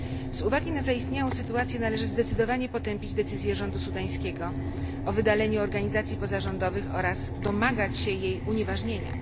Z uwagi na zaistniałą sytuację należy zdecydowanie potępić decyzję rządu sudańskiego o wydaleniu organizacji pozarządowych oraz domagać się jej unieważnienia.